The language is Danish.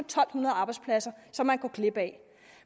to hundrede arbejdspladser som man går glip af